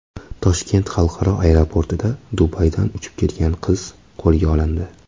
Toshkent xalqaro aeroportida Dubaydan uchib kelgan qiz qo‘lga olindi.